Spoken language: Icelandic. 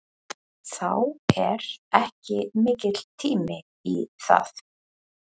Þá er ekki mikill tími í það.